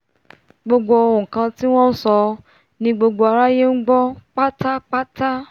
gbogbo nkan tí wọ́n nsọ ni gbogbo aráyé ngbọ́ pátápátá